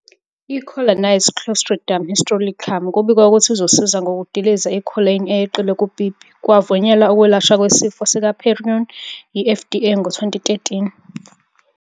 I-Collagenase clostridium histolyticum kubikwa ukuthi izosiza ngokudiliza i-collagen eyeqile kupipi. Kwavunyelwa ukwelashwa kwesifo sikaPeyronie yi-FDA ngo-2013.